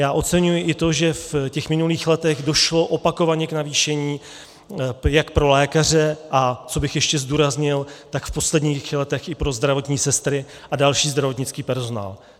Já oceňuji i to, že v těch minulých letech došlo opakovaně k navýšení jak pro lékaře, a co bych ještě zdůraznil, tak v posledních letech i pro zdravotní sestry a další zdravotnický personál.